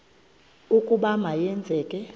ukuba ma yenzeke